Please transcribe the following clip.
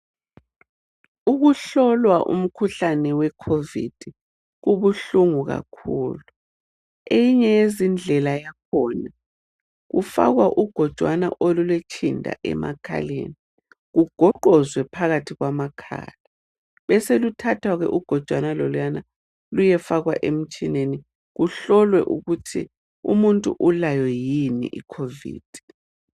Ukuhlolwa umkhuhlane weCovid kubuhlungu kakhulu. Eyinye yezindlela yakhona kufakwa ugojwana olulotshinda emakhaleni kugoqozwe phakathi kwamakhala beseluthathwa ugojwana loluyana luyefakwa emtshineni kuhlolwe ukuthi umuntu ulayo yini iCovid.